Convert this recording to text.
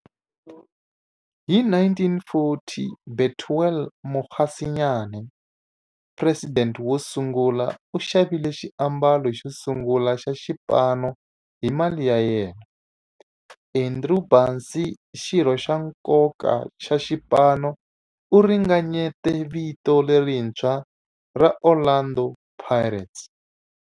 Hi 1940, Bethuel Mokgosinyane, president wosungula, u xavile xiambalo xosungula xa xipano hi mali ya yena. Andrew Bassie, xirho xa nkoka xa xipano, u ringanyete vito lerintshwa ra 'Orlando Pirates'.